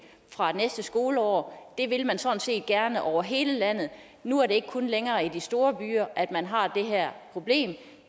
fra næste skoleår det vil man sådan set gerne over hele landet nu er det ikke længere kun i de store byer man har det her problem